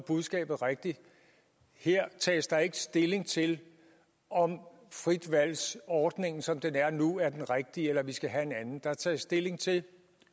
budskabet rigtigt her tages der ikke stilling til om fritvalgsordningen som den er nu er den rigtige eller om vi skal have en anden der er taget stilling til at